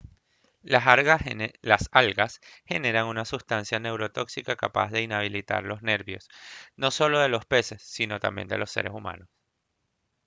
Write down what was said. las algas generan una sustancia neurotóxica capaz de inhabilitar los nervios no solo de los peses sino también de los seres humanos